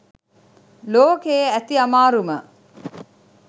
ලෝකයෙ ඇති අමාරුම